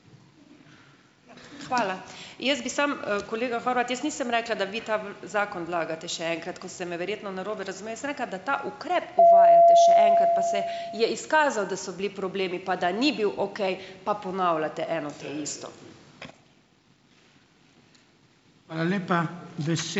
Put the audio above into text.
Hvala. Jaz bi samo, kolega Horvat, jaz nisem rekla, da vi ta zakon vlagate še enkrat, kot ste me verjetno narobe razumeli. Jaz sem rekla, da ta ukrep uvajate še enkrat, pa se je izkazalo, da so bili problemi, pa da ni bil okej, pa ponavljate eno ta isto.